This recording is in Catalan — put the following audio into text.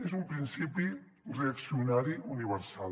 és un principi reaccionari universal